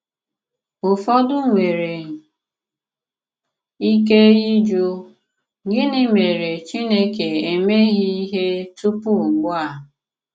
Ùfọdụ nwere ike ịjụ: ‘Gịnị mèré Chìnékè emeghị ihe tupu ùgbu a?’